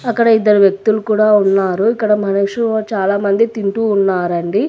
అక్కడ ఇద్దరు వ్యక్తులు కూడా ఉన్నారు ఇక్కడ మనుషూ చాలామంది తింటూ ఉన్నారండి.